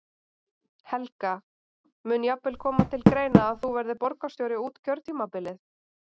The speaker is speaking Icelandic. Helga: Mun jafnvel koma til greina að þú verðir borgarstjóri út kjörtímabilið?